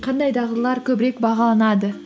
қандай дағдылар көбірек бағаланады